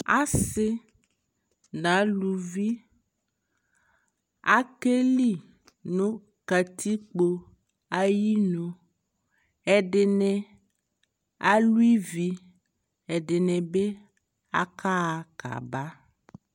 Asi na luvi akɛ li nu katikpo ayi nuƐdini alu iviƐdini bi aka ɣa ka ba